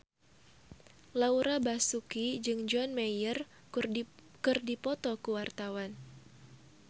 Laura Basuki jeung John Mayer keur dipoto ku wartawan